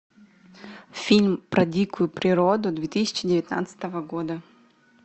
фильм про дикую природу две тысячи девятнадцатого года